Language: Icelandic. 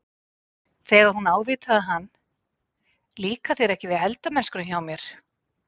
Þegar hún ávítaði hann- Líkar þér ekki við eldamennskuna hjá mér?